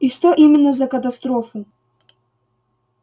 и что именно за катастрофу